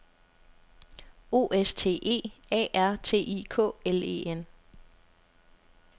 O S T E A R T I K L E N